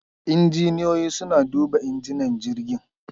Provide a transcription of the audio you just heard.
Injiniyoyi suna duba injinan jirgin.